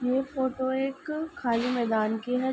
ये फोटो एक खाली मैदान की है।